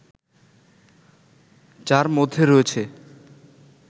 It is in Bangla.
যার মধ্যে রয়েছে